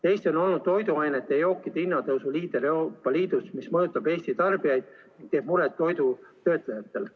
Eesti on olnud toiduainete ja jookide hinna tõusu liider Euroopa Liidus, mis mõjutab Eesti tarbijaid ja teeb muret toidu töötlejatele.